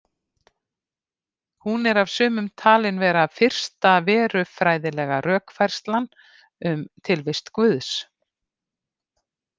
Hún er af sumum talin vera fyrsta verufræðilega rökfærslan um tilvist Guðs.